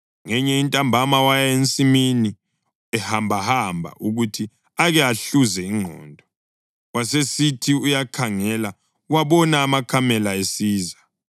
Ngenye intambama waya ensimini ehambahamba ukuthi ake ahluze ingqondo, wasesithi uyakhangela wabona amakamela esiza.